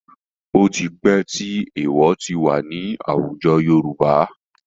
Ó ti pẹ́ tí èèwọ̀ ti wà ní àwùjọ Yorùbá.